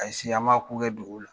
Ali sini an ma ko kɛ dogo la.